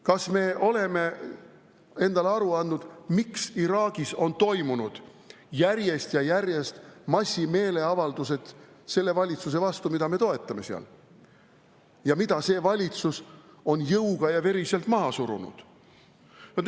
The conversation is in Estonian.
Kas me oleme endale aru andnud, miks Iraagis on toimunud selle valitsuse vastu, mida me seal toetame, järjest ja järjest massimeeleavaldused, mida see valitsus on jõuga ja veriselt maha surunud?